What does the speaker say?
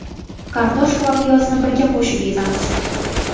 Kartoshka va piyozni birga qo‘shib ezamiz.